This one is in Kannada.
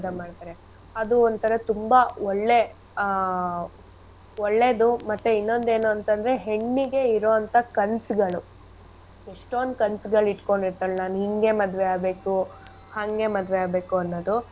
ಮಾಡ್ತಾರೆ ಅದು ಒಂತರ ತುಂಬಾ ಒಳ್ಳೆ ಆ ಒಳ್ಳೇದು ಮತ್ತೆ ಇನ್ನೊಂದ್ ಏನು ಅಂತ್ ಅಂದ್ರೆ ಹೆಣ್ಣಿಗೆ ಇರೊ ಅಂತ ಕನ್ಸ್ಗಳು ಎಷ್ಟೊಂದ್ ಕನ್ಸ್ಗಳ್ ಇಟ್ಕೊಂಡಿರ್ತಾಳೆ ನಾನ್ ಹಿಂಗೆ ಮದ್ವೆ ಆಗ್ಬೇಕು, ಹಂಗೆ ಮದ್ವೆ ಆಗ್ಬೇಕು ಅನ್ನೋದು.